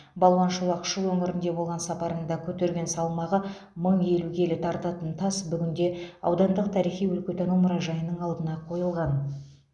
балуан шолақ шу өңірінде болған сапарында көтерген салмағы мың елу келі тартатын тас бүгінде аудандық тарихи өлкетану мұражайының алдына қойылған